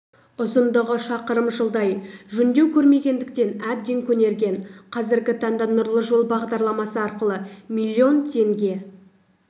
ұзындығы шақырым жылдай жөндеу көрмегендіктен әбден көнерген қазіргі таңда нұрлы жол бағдарламасы арқылы миллион теңге